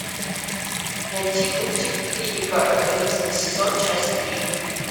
найти мультик клиника одиннадцатый сезон часть три